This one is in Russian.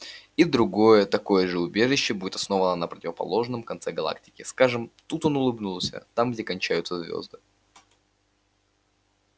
и другое такое же убежище будет основано на противоположном конце галактики скажем тут он улыбнулся там где кончаются звезды